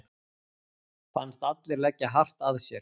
Fannst allir leggja hart að sér.